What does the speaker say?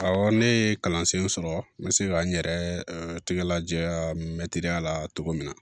Awɔ ne ye kalansen sɔrɔ n bɛ se ka n yɛrɛ tigɛ laja mɛtiriya la cogo min na